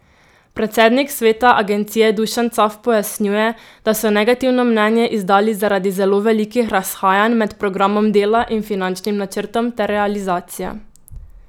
Predsednik sveta agencije Dušan Caf pojasnjuje, da so negativno mnenje izdali zaradi zelo velikih razhajanj med programom dela in finančnim načrtom ter realizacijo.